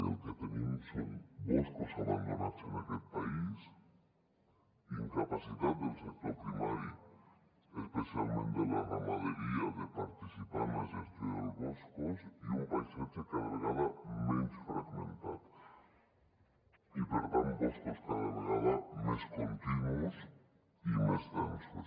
i el que tenim són boscos abandonats en aquest país incapacitat del sector primari especialment de la ramaderia de participar en la gestió dels boscos i un paisatge cada vegada menys fragmentat i per tant boscos cada vegada més continus i més densos